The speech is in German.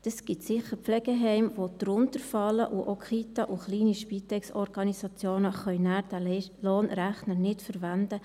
Es gibt sicher Pflegeheime, die tiefer liegen, und auch Kitas und kleine Spitex-Organisationen können diesen Lohnrechner nachher nicht verwenden.